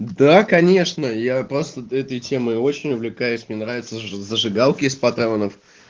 да конечно я просто этой темой очень увлекаюсь мне нравятся зажигалки из патронов